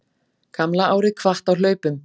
Gamla árið kvatt á hlaupum